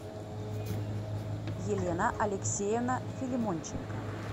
елена алексеевна филимонченко